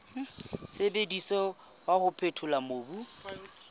sebediswang wa ho phethola mobu